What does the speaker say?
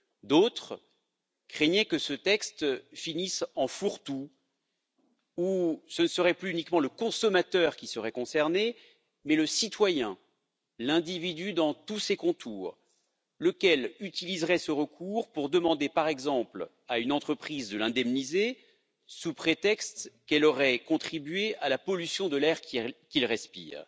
D'autres craignaient que ce texte finisse en fourre tout où ce ne serait plus uniquement le consommateur qui serait concerné mais le citoyen, l'individu dans tous ses contours, lequel utiliserait ce recours pour demander par exemple à une entreprise de l'indemniser sous prétexte qu'elle aurait contribué à la pollution de l'air qu'il respire.